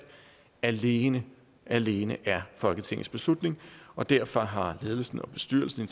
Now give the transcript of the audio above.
alene alene er folketingets beslutning og derfor har ledelsen og bestyrelsen